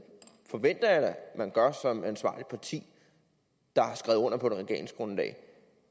forventer jeg da at man gør som ansvarligt parti der har skrevet under på et regeringsgrundlag